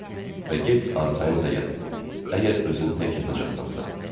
Və get arxayın da yat, əgər özün tək yatacaqsansa.